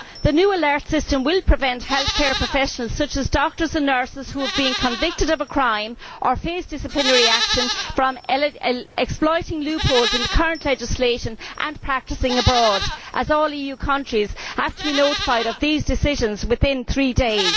The new alert system will prevent healthcare professionals, such as doctors and nurses who have been convicted of a crime or face disciplinary action, from exploiting loopholes in the current legislation and practising abroad, as all EU countries have to be notified of such decisions within three days.